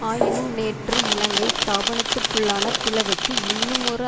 ஆயினும் நேற்று இலங்கை ஸ்தாபனத்துக்குள்ளான பிளவுக்கு இன்னுமொரு